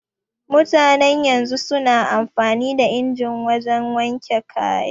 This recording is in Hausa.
Mutanen yanzu su na amfani da inji wajen wanke kaya